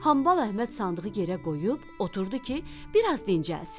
Hambal Əhməd sandığı yerə qoyub, oturdu ki, biraz dincəlsin.